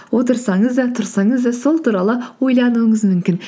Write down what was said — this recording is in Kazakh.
отырсаңыз да тұрсаңыз да сол туралы ойлануыңыз мүмкін